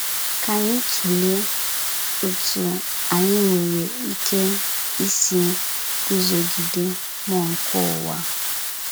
Ka anyị tụlee otú anyị nwere ike isi gụzogide mmụọ nke ụwa.